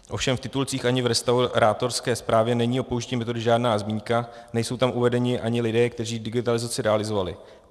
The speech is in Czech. Ovšem v titulcích ani v restaurátorské zprávě není o použití metody žádná zmínka, nejsou tam uvedeni ani lidé, kteří digitalizaci realizovali.